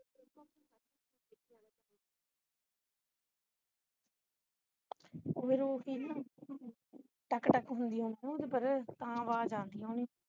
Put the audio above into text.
ਮੈਨੂੰ ਉਹ ਸੀ ਨਾ ਟਕ ਟਕ ਹੁੰਦੀ ਹੋਣੀ ਉਪਰ ਤਾਂ ਆਵਾਜ਼ ਆਉਂਦੀ ਹੋਣੀ